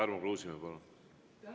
Tarmo Kruusimäe, palun!